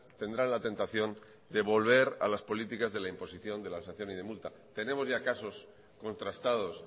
tendrán la tentación de volver a las políticas de la imposición de la sanción y de multa tenemos ya casos contrastados